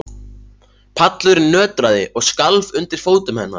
Pallurinn nötraði og skalf undir fótum hennar.